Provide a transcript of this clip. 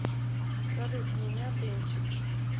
салют меня дэнчик